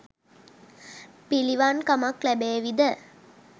පිළිවන් කමක් ලැබේවි ද?